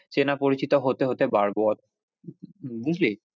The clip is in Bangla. চেনা পরিচিত হতে হতে বাড়বো বুঝলি?